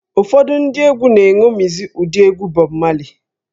Ụfọdụ ndị egwú na-eṅomizi ụdị egwú Bọb Mali